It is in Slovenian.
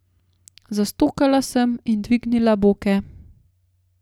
Zastokala sem in dvignila boke.